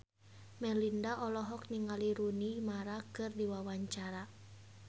Melinda olohok ningali Rooney Mara keur diwawancara